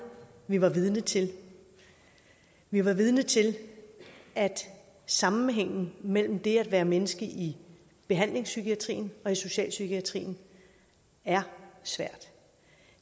vi var vidne til vi var vidne til at sammenhængen mellem det at være menneske i behandlingspsykiatrien og i socialpsykiatrien er svært